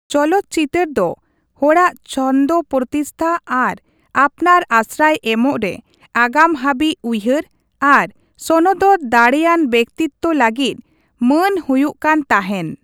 ᱪᱚᱞᱚᱛ ᱪᱤᱛᱟᱹᱨ ᱫᱚ ᱦᱚᱲᱟᱜ ᱪᱷᱚᱱᱫᱚ ᱯᱨᱚᱛᱤᱥᱴᱷᱟ ᱟᱨ ᱟᱯᱱᱟᱨ ᱟᱥᱨᱟᱭ ᱮᱢᱚᱜ ᱨᱮ ᱟᱜᱟᱢ ᱦᱟᱹᱵᱤᱡ ᱩᱭᱦᱟᱹᱨ ᱟᱨ ᱥᱚᱱᱚᱫᱚᱨ ᱫᱟᱲᱮᱭᱟᱱ ᱵᱮᱠᱛᱤᱛᱛᱚ ᱞᱟᱹᱜᱤᱫ ᱢᱟᱹᱱ ᱦᱩᱭᱩᱜ ᱠᱟᱱ ᱛᱟᱦᱮᱱ ᱾